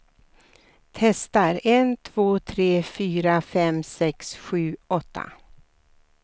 Testar en två tre fyra fem sex sju åtta.